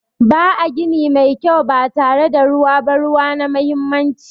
Ba a gini mai kyau ba tare da ruwa ba. Ruwa na muhimmanci.